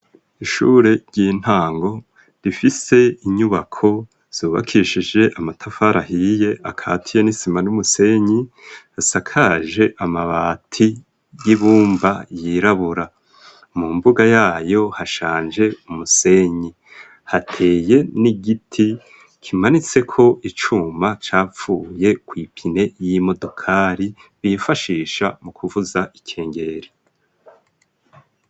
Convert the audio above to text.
Ishure ry'intango rifise inyubako zubakishije amatafari ahiye akatiye n'isima n'umusenyi hasakaje amabati y'ibumba yirabura mu mbuga yayo hashanje umusenyi hateye n'igiti kimanitseko icuma capfuye ku ipine y'imodokari bifashisha mu kuvuza ikengeri.